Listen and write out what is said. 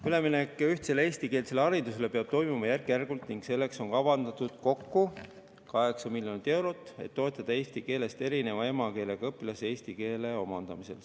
Üleminek ühtsele eestikeelsele haridusele peab toimuma järk-järgult ning selleks on kavandatud kokku 8 miljonit eurot, et toetada eesti keelest erineva emakeelega õpilasi eesti keele omandamisel.